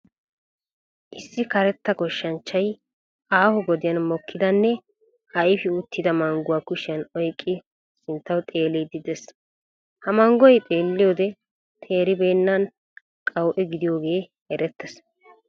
Issi karetta goshshanchchay aaho gadiyaan mokkidanne ayfi uttida mangguwaa kushshiyan oyqqid sinttawu xeelliidi dees. Ha manggoy xeelliyode teeribenna qawu'e gidiyoogee erettees.